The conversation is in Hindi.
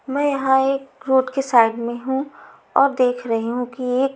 मैं यहाँ एक रोड के साइड में हूँ और देख रही हूँ कि एक--